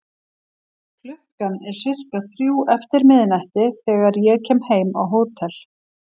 Klukkan er sirka þrjú eftir miðnætti þegar ég kem heim á hótel.